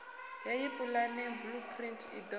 heyi pulane blueprint i do